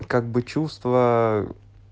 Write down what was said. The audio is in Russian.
как бы чувства